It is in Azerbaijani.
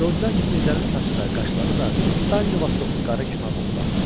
Gördülər ki, Mirzənin saçı da, qaşları da Danli Vastokun qarı kimi ağappaqdır.